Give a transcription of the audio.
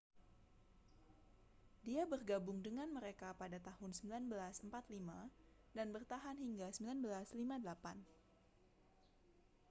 dia bergabung dengan mereka pada tahun 1945 dan bertahan hingga 1958